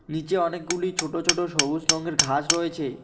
নীচে অনেকগুলি ছোট ছোট সবুজ রঙের ঘাস রয়েছে।